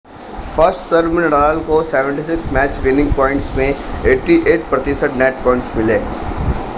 first serve में Nadal को 76 match winning points में 88% नेट पॉइंट्स मिले